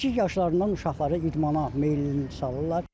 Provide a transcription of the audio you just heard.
Kiçik yaşlarından uşaqları idmana meyilli salırlar.